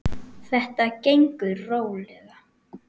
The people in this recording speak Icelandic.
Þetta gengur rólega.